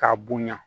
K'a bonya